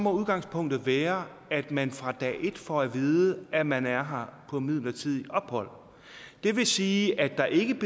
udgangspunktet være at man fra dag et får at vide at man er her på midlertidigt ophold og det vil sige at der ikke